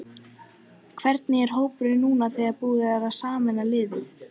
Hvernig er hópurinn núna þegar búið er að sameina liðin?